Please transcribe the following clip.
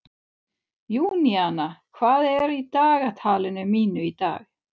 Júníana, hvað er í dagatalinu mínu í dag?